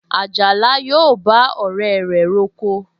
Àjàlá yóò bá ọ̀rẹ́ rẹ̀ roko